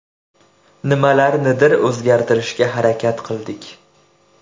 Nimalarnidir o‘zgartirishga harakat qildik.